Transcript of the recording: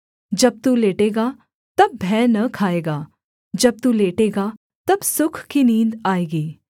जब तू लेटेगा तब भय न खाएगा जब तू लेटेगा तब सुख की नींद आएगी